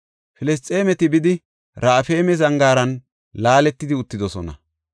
Filisxeemeti bidi, Raafayme zangaaran laaletidi uttidosona.